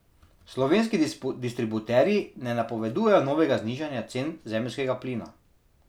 Slovenski distributerji ne napovedujejo novega znižanja cen zemeljskega plina.